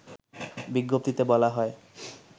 বিজ্ঞপ্তিতে বলা হয়